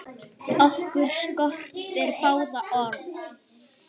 Okkur skortir báða orð.